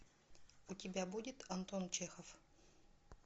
у тебя будет антон чехов